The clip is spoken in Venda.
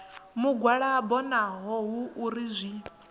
mugwalabo naho hu uri zwi